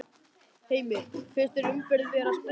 Heimir: Finnst þér umferðin vera að sprengja sig?